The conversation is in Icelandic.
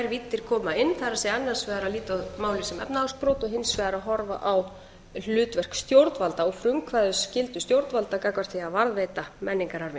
annars vegar að líta á málið sem efnahagsbrot og hins vegar að horfa á hlutverk stjórnvalda og frumkvæðisskyldu stjórnvalda gagnvart því að varðveita menningararfinn